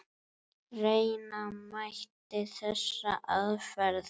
Reyna mætti þessa aðferð.